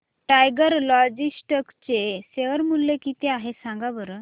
tiger Logistics चे share मूल्य किती आहे सांगा बरं